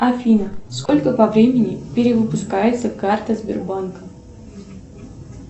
афина сколько по времени перевыпускается карта сбербанка